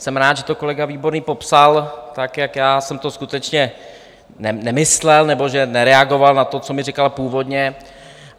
Jsem rád, že to kolega Výborný popsal, tak jak já jsem to skutečně nemyslel, nebo že nereagoval na to, co mi říkal původně.